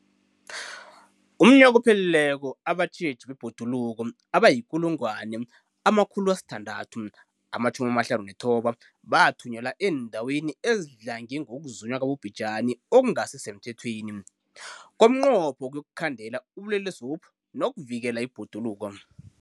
UmNnyaka ophelileko abatjheji bebhoduluko abayi-1 659 bathunyelwa eendaweni ezidlange ngokuzunywa kwabobhejani okungasi semthethweni ngomnqopho wokuyokukhandela ubulelesobu nokuvikela ibhoduluko.